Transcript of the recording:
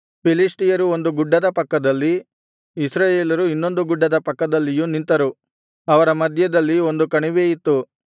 ಫಿಲಿಷ್ಟಿಯರು ಒಂದು ಗುಡ್ಡದ ಪಕ್ಕದಲ್ಲಿ ಇಸ್ರಾಯೇಲರು ಇನ್ನೊಂದು ಗುಡ್ಡದ ಪಕ್ಕದಲ್ಲಿಯೂ ನಿಂತರು ಅವರ ಮಧ್ಯದಲ್ಲಿ ಒಂದು ಕಣಿವೆ ಇತ್ತು